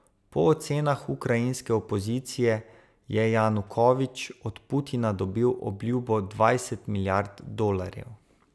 Po ocenah ukrajinske opozicije je Janukovič od Putina dobil obljubo dvajset milijard dolarjev.